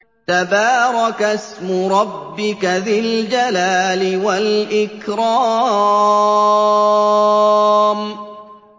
تَبَارَكَ اسْمُ رَبِّكَ ذِي الْجَلَالِ وَالْإِكْرَامِ